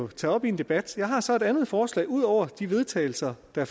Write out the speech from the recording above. tage op i en debat jeg har så et andet forslag ud over de vedtagelse der